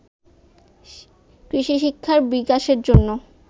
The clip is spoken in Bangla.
কৃষিশিক্ষার বিকাশের জন্য